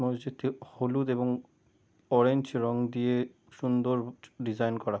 মসজিদটি হলুদ এবং অরেঞ্জ রং দিয়ে সুন্দর ডিসাইন করা।